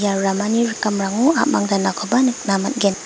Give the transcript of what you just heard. ramani rikamrango a·mang danakoba nikna man·gen.